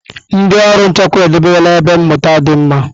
Ndị ọrụ nchekwa edobela ebe mmụta dị mma.